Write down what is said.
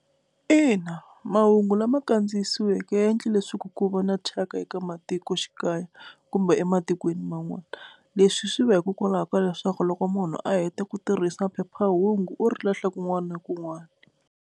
Ina, mahungu lama kandziyisiweke ya endla leswaku ku va na thyaka eka matikoxikaya kumbe ematikweni man'wana, leswi swi va hikokwalaho ka leswaku loko munhu a heta ku tirhisa phephahungu u ri lahla kun'wana na kun'wana.